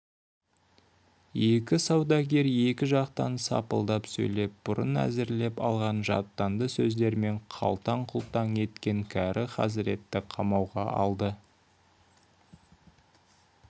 екі саудагер екі жақтан сапылдап сөйлеп бұрын әзірлеп алған жаттанды сөздерімен қалтаң-құлтаң еткен кәрі хазіретті қамауға алды